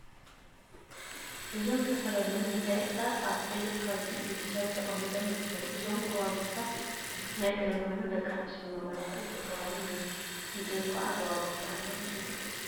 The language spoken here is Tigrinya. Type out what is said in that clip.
እዞም ዝተፈላለዩ መጋየፂታት አብ ቀይሕ ከብዲ ኢድ ሰብ ተቀሚጦም ይርከቡ፡፡ እዞም ጎባጉባት ናይ ቀደም ኮይኖም ደቂ አንስተዮ ንመመላክዒ ዝጥቀማሎም እዮም፡፡ እዚኦም ከዓ ጎባጉብ ተባሂሎም ይፅውዑ፡፡